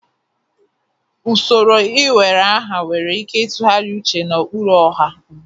Usoro iwere aha nwere ike ịtụgharị uche na ụkpụrụ ọha ugbu a.